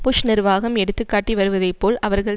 push நிர்வாகம் எடுத்து காட்டி வருவதைப்போல் அவர்கள்